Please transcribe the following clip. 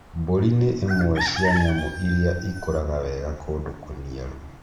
Mbũri nĩ imwe cia nyamũ iria ikũraga wega kũndũ kũniaru.